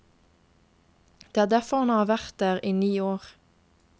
Det er derfor han har vært der i ni år.